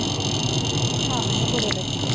ਆਹੋ ਨਾ ਬੁੁਰੇ ਲੱਗੀ ਦਾ।